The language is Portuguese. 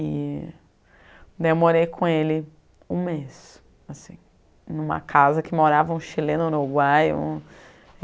E daí eu morei com ele um mês, assim, em uma casa que morava um chileno uruguaio.